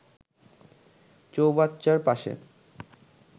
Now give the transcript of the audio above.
চৌবাচ্চার পাশে